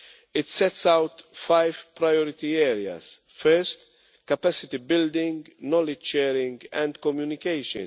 It sets out five priority areas first, capacity building, knowledge sharing and communication.